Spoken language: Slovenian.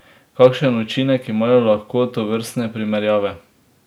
Kakšen učinek imajo lahko tovrstne primerjave?